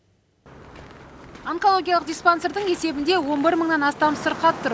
онкологиялық диспансердің есебінде он бір мыңнан астам сырқат тұр